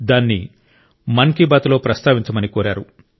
దాన్ని మన్ కి బాత్ లో ప్రస్తావించమని కోరారు